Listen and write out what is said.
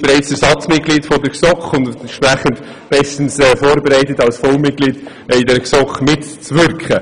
Sie ist bereits Ersatzmitglied der GSoK und ist deshalb bestens vorbereitet, um als Vollmitglied in der GSoK mitzuwirken.